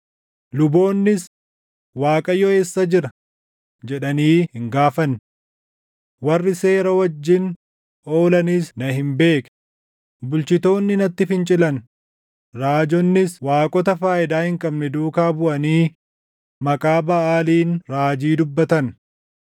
Luboonnis, ‘ Waaqayyo eessa jira?’ jedhanii hin gaafanne. Warri seera wajjin oolanis na hin beekne; bulchitoonni natti fincilan; raajonnis waaqota faayidaa hin qabne duukaa buʼanii maqaa Baʼaaliin raajii dubbatan.